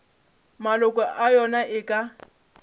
maloko a yona e ka